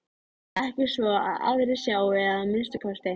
Ekki svo að aðrir sjái að minnsta kosti.